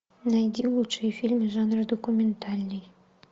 найди лучшие фильмы жанра документальный